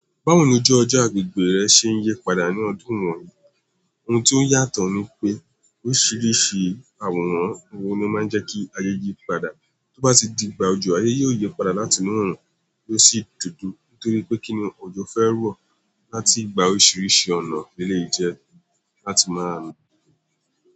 Báwo ni ojú ọjọ́ agbègbè rẹ ṣe ń yí padà ní ọdún wọ̀nyí? Ohun tí ó yàtọ̀ ni pé oríṣiríṣi àwòrán ohun ló máa ń jẹ́ kí ayé yí padà. Tó bá ti di gba òjò, ayé yóò yí padà láti inú òòrùn ló sì dudu. Nítorí pé kíni òjò fẹ́ ro láti gba oríṣiríṣi ọ̀nà léleyi jẹ láti máa nu.